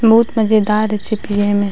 बहुत मजेदार छे पिए में।